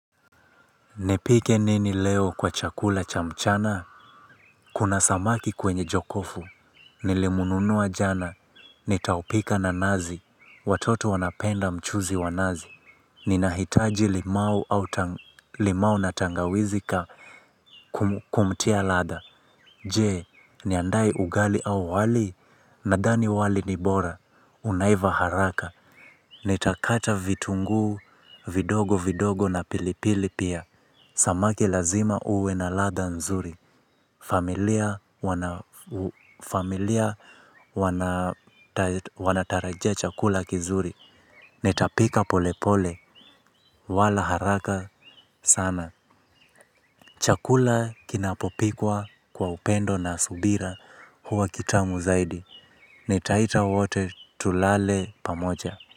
Nipike nini leo kwa chakula cha mchana? Kuna samaki kwenye jokofu. Nilimnunua jana. Nitaupika na nazi. Watoto wanapenda mchuzi wa nazi. Ninahitaji limau au limau na tangawizi kumtia ladha. Je, niandae ugali au wali? Nadhani wali ni bora. Unaiva haraka. Nitakata vitunguu, vidogo vidogo na pilipili pia. Samaki lazima uwe na ladha nzuri. Familia wanatarajia chakula kizuri. Nitapika polepole wala haraka sana. Chakula kinapopikwa kwa upendo na subira huwa kitamu zaidi. Nitaita wote tulale pamoja.